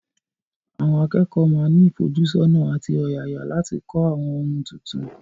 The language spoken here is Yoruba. Àwọn akẹ́kọ̀ọ́ máa ní ìfojúsọ́nà àti ọ̀yàyà láti kọ́ àwọn ohun tuntun.